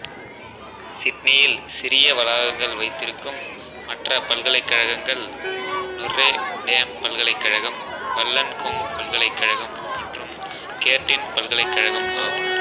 சிட்னியில் சிறிய வளாகங்கள் வைத்திருக்கும் மற்ற பல்கலைக்கழகங்கள் நொற்ரே டேம் பல்கலைக்கழகம் வல்லன்கொங் பல்கலைக்கழகம் மற்றும் கேர்ட்டின் பல்கலைக்கழகம் ஆகும்